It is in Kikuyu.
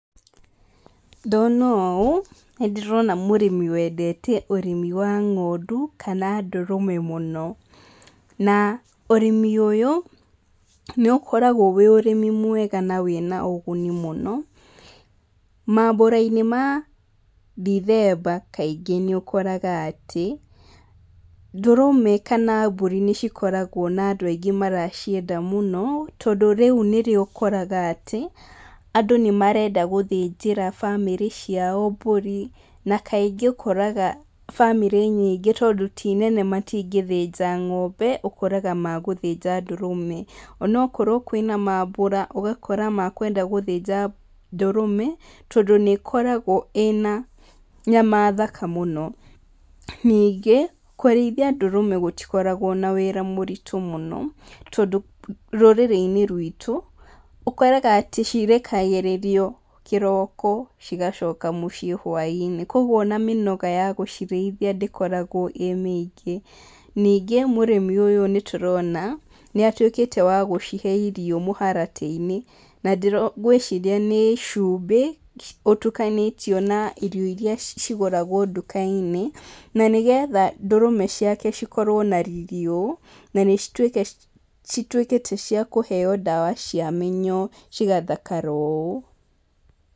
Ndona ũũ, nĩ ndĩrona mũrĩmi wandete ũrĩmi wa ng'ondu, kana ndũrũme mũno. Na ũrĩmi ũyũ, nĩ ũkoragwo wĩ ũrĩmi mwega na wĩna ũguni mũno, maambura-inĩ ma Ndithemba kaingĩ nĩ ũkoraga atĩ, ndũrũme kana mbũri nĩ cikoragwo na andũ aingĩ maracienda mũno, tondũ rĩu nĩrĩo ũkoraga atĩ, andũ nĩ marenda gũthĩnjĩra bamĩrĩ ciao mbũri. Na kaingĩ ũkoraga bamĩrĩ nyingĩ tondũ ti nene matingĩthĩnja ng'ombe, ũkoraga magũthĩnja ndũrũme. Onokorwo kwĩna maambura, ũgakora makwenda gũthĩnja ndũrũme, tondũ nĩ ĩkoragwo ĩna nyama thaka mũno. Ningĩ, kũrĩithia ndũrũme gũtikoragwo na wĩra mũritũ mũno, tondũ rũrĩrĩ-inĩ ruitũ, ũkoraga atĩ cirekagĩrĩrio kĩroko, cigacoka mũciĩ hwainĩ. Kũguo ona mĩnoga ya gũcirĩithia ndĩkoragwo ĩĩ mĩingĩ. Ningĩ, mũrĩmi ũyũ nĩ tũrona, nĩ atuĩkĩte wa gũcihe irio mũharatĩ-inĩ. Na ndĩrona ngwĩciria nĩ cumbĩ, ũtukanĩtio na irio irĩa cigũragwo nduka-inĩ, na nĩgetha ndũrũme ciake cikorwo na riri ũũ, na nĩ cituike cituĩkĩte cia kũheo ndawa cia mĩnyoo cigathakara ũũ.